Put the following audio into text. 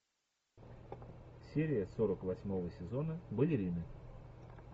серия сорок восьмого сезона балерины